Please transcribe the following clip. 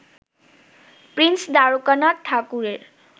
Prince Dwarkanath ঠাকুরের